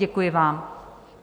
Děkuji vám.